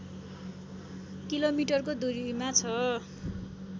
किलोमिटरको दूरीमा छ